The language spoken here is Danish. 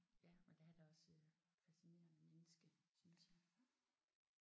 Ja og der er han også øh et facsinerende menneske synes jeg